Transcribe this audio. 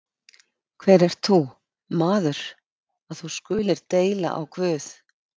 Hver ert þú, maður, að þú skulir deila á Guð?